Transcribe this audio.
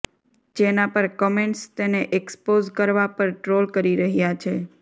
જેનાં પર કમેન્ટ્સ તેને એક્સપોઝ કરવા પર ટ્રોલ કરી રહ્યાં છે